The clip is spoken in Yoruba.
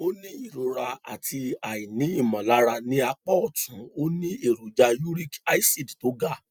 ó ní ìrora àti aini imolara ní apá ọtún ó ní èròjà uric acid tó ga